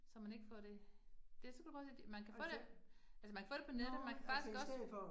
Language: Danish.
Så man ikke får det, det supergodt, man kan få det, altså man kan få det på nettet, man kan faktisk også